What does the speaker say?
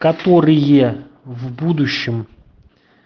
которые в будущем